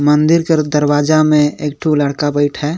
मंदिर के दरवाजा में एकठो लड़का बैठ हे।